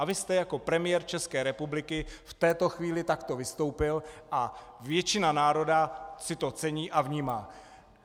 A vy jste jako premiér České republiky v této chvíli takto vystoupil a většina národa si to cení a vnímá.